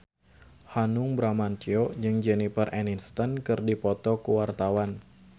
Hanung Bramantyo jeung Jennifer Aniston keur dipoto ku wartawan